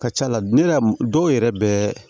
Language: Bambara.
Ka ca la ne yɛrɛ dɔw yɛrɛ bɛ